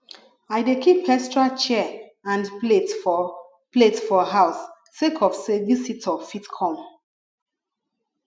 i dey keep extra chair and plate for plate for house sake of sey visitor fit come